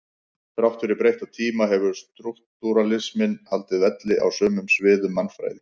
Þrátt fyrir breytta tíma hefur strúktúralisminn haldið velli á sumum sviðum mannfræði.